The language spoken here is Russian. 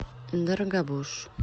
дорогобуж